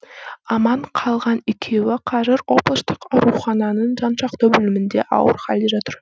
аман қалған екеуі қазір облыстық аурухананың жансақтау бөлімінде ауыр халде жатыр